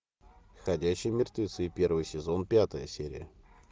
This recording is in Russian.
ходячие мертвецы первый сезон пятая серия